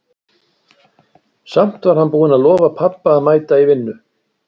Samt var hann búinn að lofa pabba að mæta í vinnu.